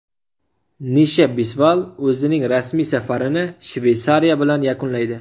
Nisha Bisval o‘zining rasmiy safarini Shveysariya bilan yakunlaydi.